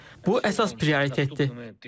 Bu əsas prioritettir.